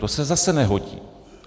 To se zase nehodí.